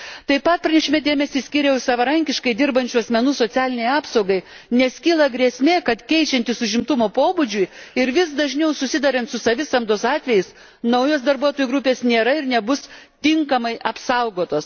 Taip pat pranešime dėmesį skyriau savarankiškai dirbančių asmenų socialinei apsaugai, nes kyla grėsmė, kad, keičiantis užimtumo pobūdžiui ir vis dažniau susiduriant su savisamdos atvejais, naujos darbuotojų grupės nėra ir nebus tinkamai apsaugotos.